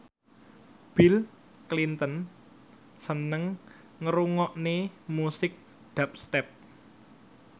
Bill Clinton seneng ngrungokne musik dubstep